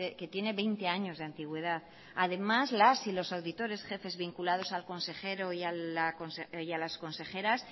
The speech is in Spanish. que tiene veinte años de antigüedad además las y los auditores jefes vinculados al consejero y a las consejeras